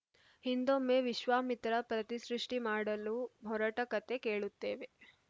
ಹಿಂದೊಮ್ಮೆ ವಿಶ್ವಾಮಿತ್ರ ಪ್ರತಿಸೃಷ್ಟಿಮಾಡಲು ಹೊರಟ ಕಥೆ ಕೇಳುತ್ತೇವೆ